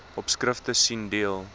opskrifte sien deel